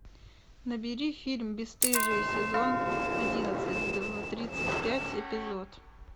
набери фильм бесстыжие сезон одиннадцать тридцать пять эпизод